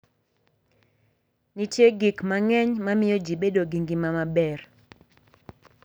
Nitie gik mang'eny ma miyo ji bedo gi ngima maber.